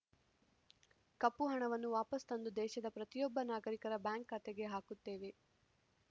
ಕಪ್ಪು ಹಣವನ್ನು ವಾಪಸ್‌ ತಂದು ದೇಶದ ಪ್ರತಿಯೊಬ್ಬ ನಾಗರಿಕರ ಬ್ಯಾಂಕ್‌ ಖಾತೆಗೆ ಹಾಕುತ್ತೇವೆ